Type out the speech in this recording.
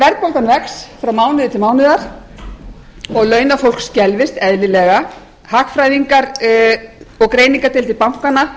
verðbólgan vex frá mánuði til mánaðar og launafólk skelfist eðlilega hagfræðingar og greiningardeildir bankanna